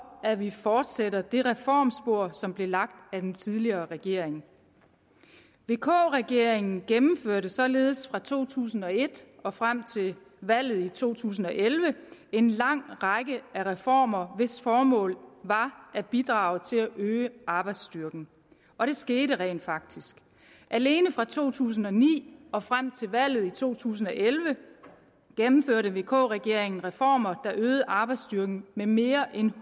at vi fortsætter ad det reformspor som blev lagt af den tidligere regering vk regeringen gennemførte således fra to tusind og et og frem til valget i to tusind og elleve en lang række reformer hvis formål var at bidrage til at øge arbejdsstyrken og det skete rent faktisk alene fra to tusind og ni og frem til valget i to tusind og elleve gennemførte vk regeringen reformer der øgede arbejdsstyrken med mere end